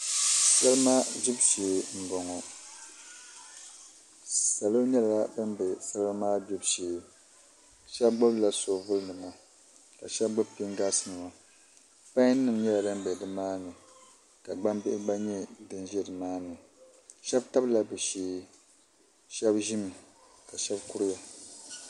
Salima gbibu shee n boŋo salo nyɛla bin bɛ salima maa gbibu shee shab gbubila soobuli nima ka shab gbubi pingaas nima pai nim nyɛla din bɛ nimaani ka gbambihi gba nyɛ din ʒɛ nimaani shab tabila bi shee shab ʒimi ka shab tabiya